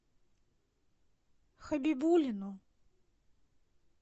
хабибулину